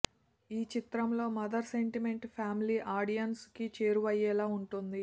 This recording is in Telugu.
ఈ చిత్రంలో మదర్ సెంటిమెంట్ ఫ్యామిలీ ఆడియన్స్ కి చేరువయ్యేలా ఉంటుంది